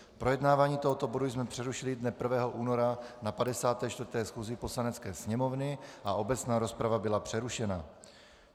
Projednávání tohoto bodu jsme přerušili dne 1. února na 54. schůzi Poslanecké sněmovny a obecná rozprava byla přerušena.